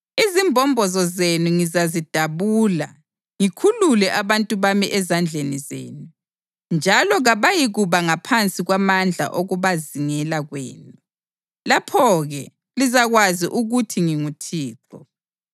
Izimbombozo zenu ngizazidabula ngikhulule abantu bami ezandleni zenu, njalo kabayikuba ngaphansi kwamandla okubazingela kwenu. Lapho-ke lizakwazi ukuthi nginguThixo.